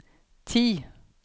ti